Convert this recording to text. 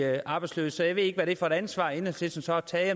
arbejdsløse så jeg ved ikke hvad det er for et ansvar enhedslisten så har taget